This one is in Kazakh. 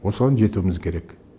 осыған жетуіміз керек